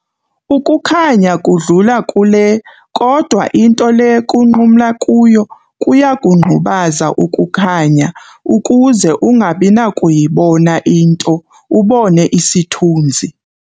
Ukukhanya kudlula kule kodwa into le kunqumla kuyo kuyakungqubaza ukukhanya ukuze ungabinakuyibona into, ubone isithunzi.